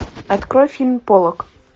открой фильм поллок